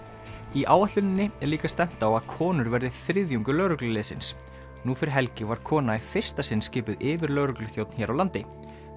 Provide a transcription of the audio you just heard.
í áætluninni er líka stefnt á að konur verði þriðjungur lögregluliðsins nú fyrir helgi var kona í fyrsta sinn skipuð yfirlögregluþjónn hér á landi